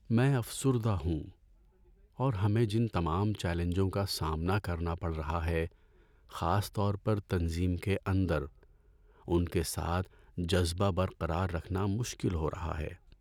میں افسردہ ہوں اور ہمیں جن تمام چیلنجوں کا سامنا کرنا پڑ رہا ہے، خاص طور پر تنظیم کے اندر، ان کے ساتھ جذبہ برقرار رکھنا مشکل ہو رہا ہے۔